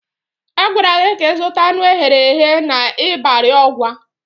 Agwara gị ka ịzụta anụ eghere eghe n'Ịbari Ọgwa!